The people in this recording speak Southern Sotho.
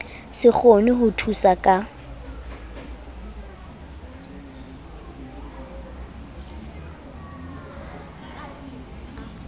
se kgone ho thusa ka